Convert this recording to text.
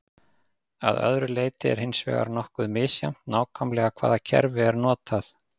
að öðru leyti er hins vegar nokkuð misjafnt nákvæmlega hvaða kerfi er notað